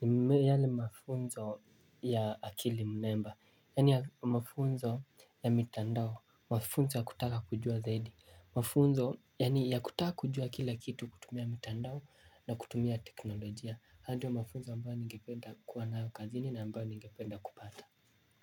ni yale mafunzo ya akili mnemba, yani mafunzo ya mitandao, mafunzo ya kutaka kujua zaidi, mafunzo yani kutaka kujua kila kitu kutumia mitandao na kutumia teknolojia, hayo ndio mafunzo ambao ningependa kuwa nayo kazini na ambayo ningependa kupata.